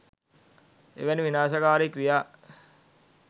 එවැනි විනාශකාරී ක්‍රියා